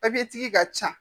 tigi ka ca